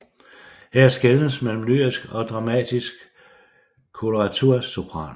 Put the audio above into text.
Her skelnes mellem lyrisk og dramatisk koloratursopran